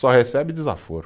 Só recebe desaforo.